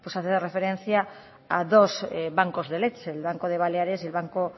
hace referencia a dos bancos de leche el banco de baleares y el banco